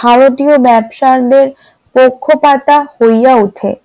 ভারতীয় ব্যবসায়ীদের পক্ষপাতা হইয়া ওঠে ।